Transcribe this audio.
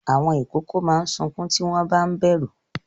Àwọn ìkókó máa ń sunkún tí wọ́n ba ń bẹ̀rù.